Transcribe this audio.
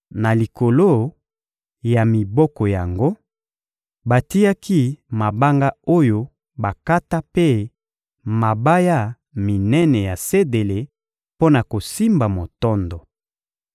Na likolo ya miboko yango, batiaki mabanga oyo bakata mpe mabaya minene ya sedele mpo na kosimba motondo.